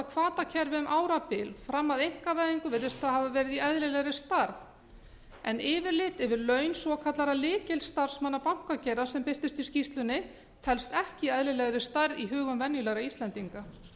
um árabil fram að einkavæðingu virðist það hafa verið í eðlilegri stærð en yfirlit yfir laun svokallaðra lykilstarfsmanna bankageirans sem birtist í skýrslunni telst ekki af eðlilegri stærð í hugum venjulegra íslendinga